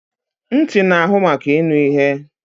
Ntị na-ahụ maka ịnụ ihe